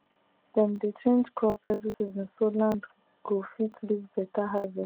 dem dey change crop every season so land go fit give better harve